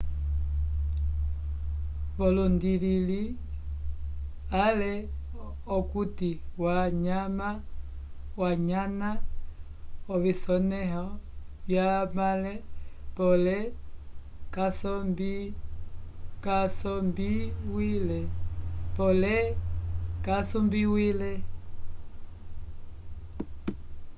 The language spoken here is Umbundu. volundilile ale okuti wanyana ovisonẽho vyamãle pole kasombiwile